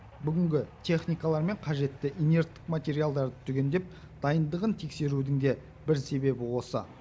бүгінгі техникалар мен қажетті инерттік материалдарды түгендеп дайындығын тексерудің де бір себебі осы